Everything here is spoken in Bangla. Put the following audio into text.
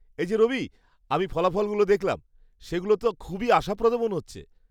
এই যে রবি, আমি ফলাফলগুলো দেখলাম, সেগুলো তো খুবই আশাপ্রদ মনে হচ্ছে।